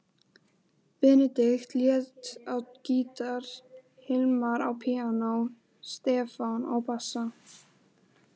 Benedikt lék á gítar, Hilmar á píanó, Stefán á bassa.